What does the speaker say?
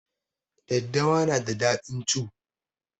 Daddawa na da daɗin cu